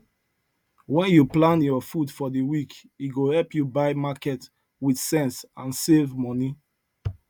when you plan your food for the week e go help you buy market with sense and save money